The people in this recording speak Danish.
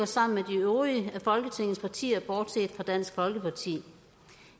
sammen med de øvrige af folketingets partier bortset fra dansk folkeparti